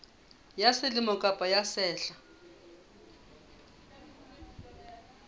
ya selemo kapa ya sehla